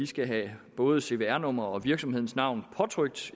skal have både cvr nummer og virksomhedens navn påtrykt